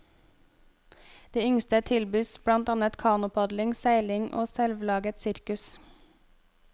De yngste tilbys blant annet kanopadling, seiling og selvlaget sirkus.